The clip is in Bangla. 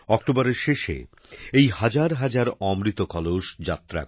অক্টোবরের শেষে এই হাজারহাজার অমৃত কলস যাত্রা